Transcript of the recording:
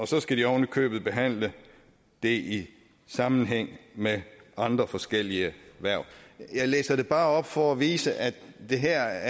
så skal de oven i købet behandle det i sammenhæng med andre forskellige hverv jeg læser det bare op for at vise at det her